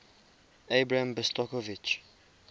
abram besicovitch